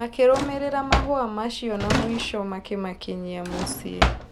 Makĩrũmĩrĩra mahũa macio na mũico makĩmakinyia mũciĩ.